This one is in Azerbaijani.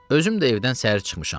Özüm də evdən səhər çıxmışam.